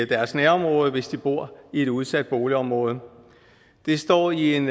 deres nærområde hvis de bor i et udsat boligområde det står i en